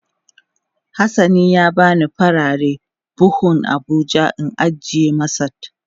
Has sani ya bani farare buhun abuja in ajiye masat.